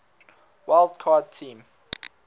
wild card team